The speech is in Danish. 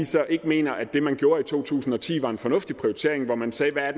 så ikke mener at det man gjorde i to tusind og ti var en fornuftig prioritering hvor man sagde at